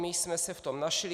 My jsme se v tom našli.